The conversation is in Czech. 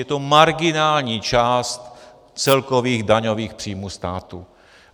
Je to marginální část celkových daňových příjmů státu.